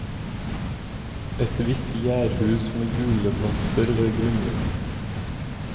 Et hvitt jærhus med gule blomster ved grunnmuren.